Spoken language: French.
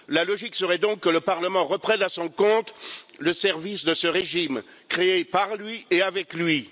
La logique serait donc que le Parlement reprenne à son compte le service de ce régime, créé par lui et avec lui.